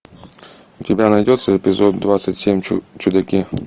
у тебя найдется эпизод двадцать семь чудаки